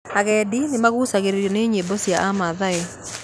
Agendi nĩmagucagĩrĩrio nĩ nyĩmbo cia aamathai